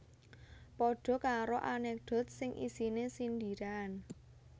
Padha karo anekdot sing isine sindiran